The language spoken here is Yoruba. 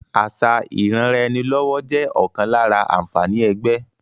Àṣà ìranraẹnilọ́wọ́ jẹ́ ọ̀kan lára àǹfààní ẹgbẹ́